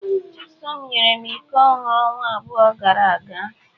Chisom nyere m iko ọhụrụ ọnwa abụọ gara aga.